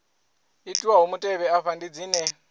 itiwaho mutevhe afha ndi dzine